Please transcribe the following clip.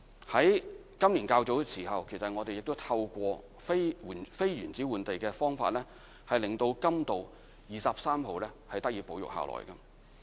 在今年較早時候，我們亦透過非原址換地的方法，令甘道23號得以保育。